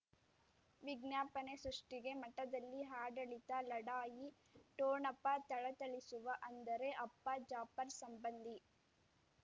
ವಿಜ್ಞಾಪನೆ ಸೃಷ್ಟಿಗೆ ಮಠದಲ್ಲಿ ಆಡಳಿತ ಲಢಾಯಿ ಠೊಣಪ ಥಳಥಳಿಸುವ ಅಂದರೆ ಅಪ್ಪ ಜಾಫರ್ ಸಂಬಂಧಿ